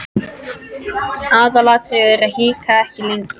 Aðalatriðið er að hika ekki lengur.